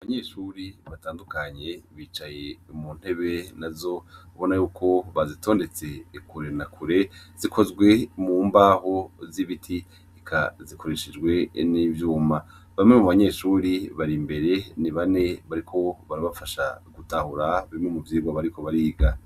Abanyeshure batandukanye bicaye muntebe nazo ubona yuko bazitondetse kure na kure zikozwe mubaho zibiti eka zikoreshejwe nivyuma bamwe mubanyeshure bari imbere ni bane bariko barabafasha gutahura bimwe muvyirwa bariko bariga